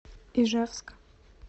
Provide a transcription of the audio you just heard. ижевск